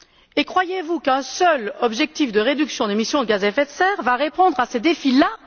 Et croyez vous qu'un seul objectif de réduction des émissions de gaz à effet de serre va répondre à ces défis là?